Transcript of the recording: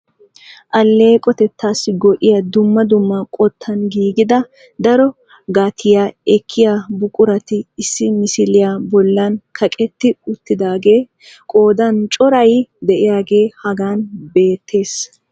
Alleeqotettassi go"iyaa dumma dumma qottan giiggida daro gatiyaa ekkiya buqurati issi misiliyaa bollan kaqetti uttidaagee qoodan coray de'iyaage hagan beettees.